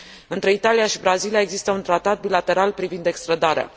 Între Italia și Brazilia există un tratat bilateral privind extrădarea.